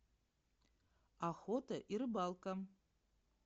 охота и рыбалка